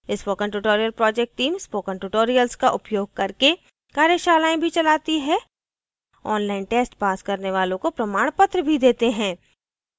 spoken tutorial project team spoken tutorial का उपयोग करके कार्यशालाएँ भी चलाती है ऑनलाइन टेस्ट पास करने वालों को प्रमाणपत्र भी देते हैं